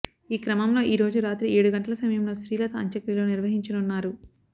ఈ క్రమంలో ఈరోజు రాత్రి ఏడు గంటల సమయంలో శ్రీలత అంత్యక్రియలు నిర్వహించనున్నారు